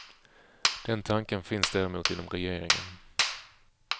Den tanken finns däremot inom regeringen.